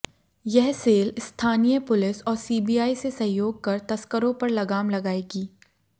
यह सेल स्थानीय पुलिस और सीबीआई से सहयोग कर तस्करों पर लगाम लगाएगी